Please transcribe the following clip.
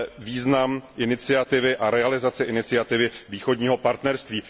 význam iniciativy a realizace iniciativy Východního partnerství.